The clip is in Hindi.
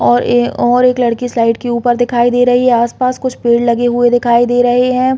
और अ और एक लड़की स्लाइड के ऊपर दिखाई दे रही है आस-पास कुछ पेड़ लगे हुए दिखाई दे रहे है।